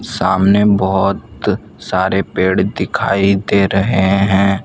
सामने बहोत सारे पेड़ दिखाई दे रहे हैं।